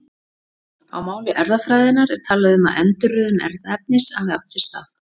Á máli erfðafræðinnar er talað um að endurröðun erfðaefnis hafi átt sér stað.